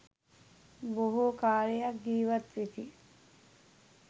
බොහෝ කාලයක් ජීවත්වෙති.